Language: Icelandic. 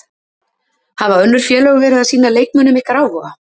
Hafa önnur félög verið að sýna leikmönnum ykkar áhuga?